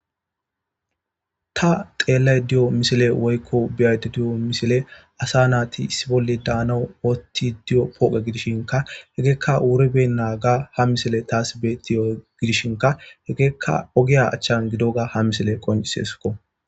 Ta xeellaydda diyo misiley woykko be'aydda diyo misiley asa naati issi bolli daanaw oottidi diyo pooqe gidishinkka hegeykka wuribeenaaga ha misiley tas beetiyo gidishinkka hegeykka ogiya achchan gidoga ha misiley qoncciseeskko.